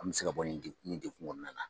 An mɛ se ka bɔ nin degun nin degun kɔnɔna na.